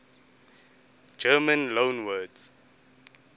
german loanwords